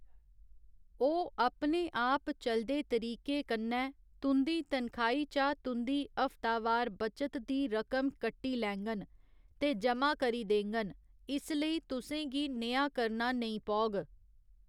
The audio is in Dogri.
ओह् अपने आप चलदे तरीके कन्नै तुं'दी तनखाही चा तुं'दी हफ्तावार बचत दी रकम कट्टी लैङन ते ज'मा करी देङन, इसलेई तुसें गी नेहा करना नेईं पौग।